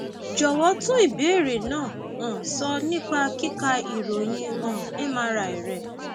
jọwọ tún ìbéèrè náà um sọ nípa kíka ìròyìn um mri rẹ